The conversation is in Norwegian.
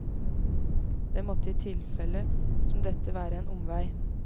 Det måtte i et tilfelle som dette være en omvei.